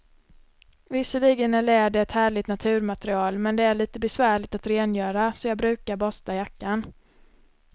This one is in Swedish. Visserligen är läder ett härligt naturmaterial, men det är lite besvärligt att rengöra, så jag brukar borsta jackan.